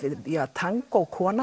tangó kona